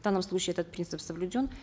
в данном случае этот принцип соблюден